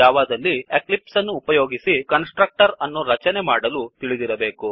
ಈ ಟ್ಯುಟೋರಿಯಲ್ ಅನ್ನು ಕಲಿಯಲು ನಾವು ಜಾವಾದಲ್ಲಿ ಎಕ್ಲಿಪ್ಸ್ ಅನ್ನು ಉಪಯೋಗಿಸಿ ಕನ್ಸ್ ಟ್ರಕ್ಟರ್ ಅನ್ನು ರಚನೆ ಮಾಡಲು ತಿಳಿದಿರಬೇಕು